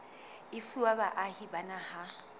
e fuwa baahi ba naha